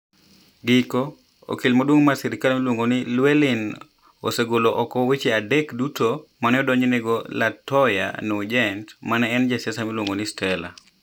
Giko: Okil maduong ' mar sirkal miluongo ni Llewelyn, osegolo oko weche adek duto ma ne odonjnego Latoya Nugent ma ne en jasiasa miluongo ni Stella.